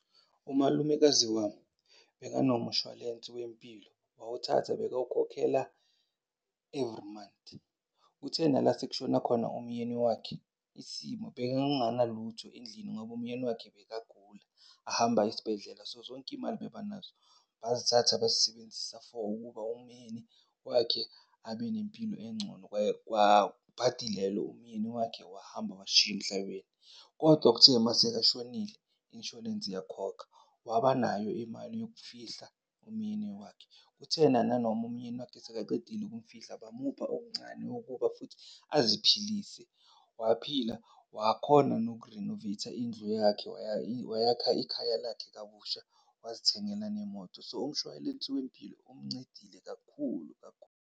Umalumekazi wami bekanomshwalense wempilo wawuthatha bekawukhokhela every month. Kuthe nala sekushona khona umyeni wakhe isimo bekanganalutho endlini ngoba umyeni wakhe bekagula ahamba aye esibhedlela. So, zonke iy'mali bebanazo bazithatha besiyisebenzisa for ukuba umyeni wakhe abanempilo engcono. , bhadi lelo umyeni wakhe wahamba wasishiya emhlabeni. Kodwa kuthe masekashonile, insurance yakhokha wabanayo imali yokufihla umyeni wakhe. Kuthe nananoma umyeni wakhe esekaqedile ukumfihla bamupha okuncane kokuba futhi aziphilise, waphila wakhona nokurinoveyitha indlu yakhe wayakhaya ikhaya lakhe kabusha wazithengela nemoto. So, umshwalense wempilo umncedile kakhulu kakhulu.